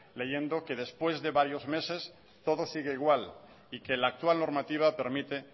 leyendo que después de varios meses todo sigue igual y que la actual normativa permite